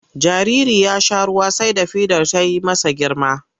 Jaririn ya sha ruwa sai da fidar ta yi masa girma.